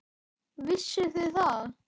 Vissuð þið það?